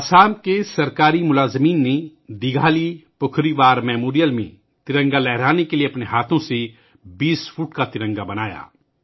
آسام میں سرکاری ملازمین نے دیگھالی پوکھوری وار میموریل پر ترنگا لہرانے کے لئے اپنے ہاتھوں سے 20 فٹ کا ترنگا بنا یا